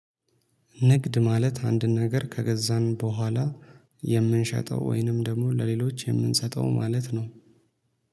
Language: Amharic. ንግድ ማለት አንድን ነገር ከገዛን በኋላ የምንሸጠው ወይንም ደግሞ ለሌሎች የምንሰጠው ማለት ነው